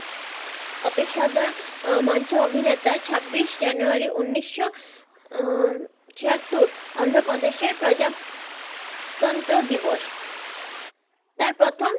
অপেসারদার মঞ্ছের অভিনেতা ছাব্বিস জানুয়ারি উনিশশো আহ ছেয়াত্তর অন্ধ্রপ্রদেসের প্রজাতন্ত্র দিবস, তার প্রথম,